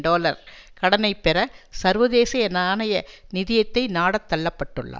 dollar கடனை பெற சர்வதேச நாணய நிதியத்தை நாடத் தள்ள பட்டுள்ளார்